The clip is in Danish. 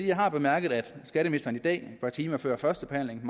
jeg har bemærket at skatteministeren i dag et par timer før førstebehandlingen